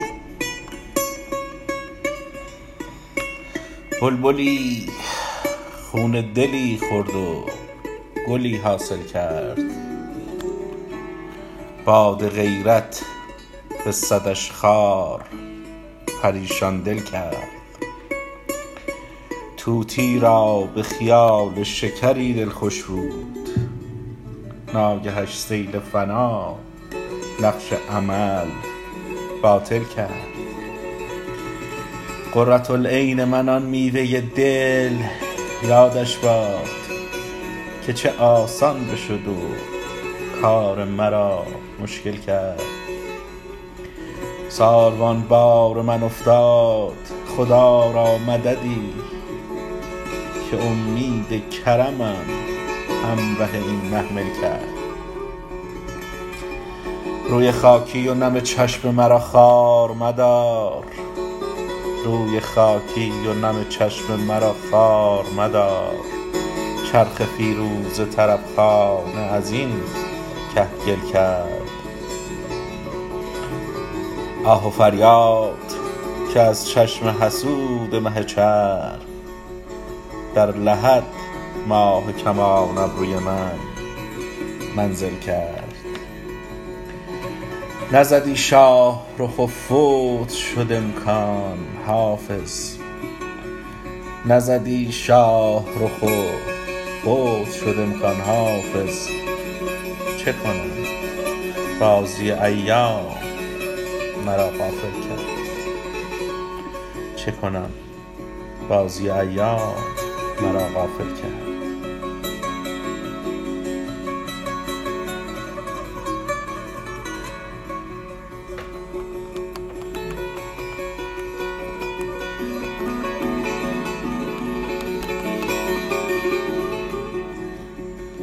بلبلی خون دلی خورد و گلی حاصل کرد باد غیرت به صدش خار پریشان دل کرد طوطیی را به خیال شکری دل خوش بود ناگهش سیل فنا نقش امل باطل کرد قرة العین من آن میوه دل یادش باد که چه آسان بشد و کار مرا مشکل کرد ساروان بار من افتاد خدا را مددی که امید کرمم همره این محمل کرد روی خاکی و نم چشم مرا خوار مدار چرخ فیروزه طرب خانه از این کهگل کرد آه و فریاد که از چشم حسود مه چرخ در لحد ماه کمان ابروی من منزل کرد نزدی شاه رخ و فوت شد امکان حافظ چه کنم بازی ایام مرا غافل کرد